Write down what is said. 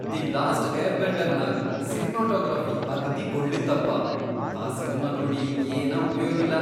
The last ಏರ್ಬೆಂಡರ್ನಾಗ್ cinematography ಅಗ್ದೀ ಗೊಳ್ಳಿತ್ತಪಾ, ಆ ಸಿನಿಮಾ ನೋಡಿ ಏನ ಉಪಯೋಗಿಲ್ಲಾ.